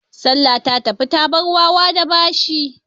Salla ta tafi ta bar wawa da bashi.